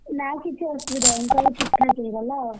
ନା କିଛି ଅସୁବିଧା ହେଇନି ସବୁ ଠିକ୍ ଠାକ୍ ହେଇଗଲା ଆଉ,